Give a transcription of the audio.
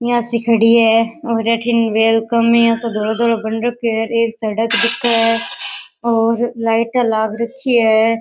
यह सी खड़ी है और अठीन वेलकम में या सो धोलो धोलो बन रखयो है और एक सड़क दिखे है और लाईटा लाग रखी है।